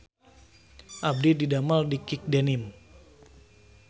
Abdi didamel di Kick Denim